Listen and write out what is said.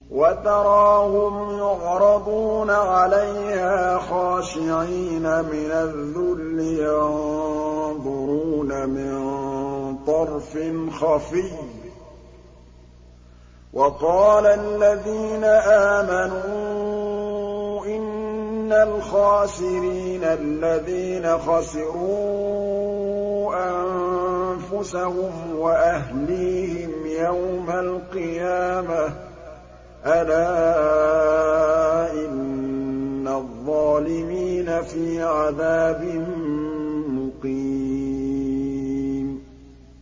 وَتَرَاهُمْ يُعْرَضُونَ عَلَيْهَا خَاشِعِينَ مِنَ الذُّلِّ يَنظُرُونَ مِن طَرْفٍ خَفِيٍّ ۗ وَقَالَ الَّذِينَ آمَنُوا إِنَّ الْخَاسِرِينَ الَّذِينَ خَسِرُوا أَنفُسَهُمْ وَأَهْلِيهِمْ يَوْمَ الْقِيَامَةِ ۗ أَلَا إِنَّ الظَّالِمِينَ فِي عَذَابٍ مُّقِيمٍ